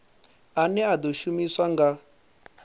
ane a ḓo shumiswa nga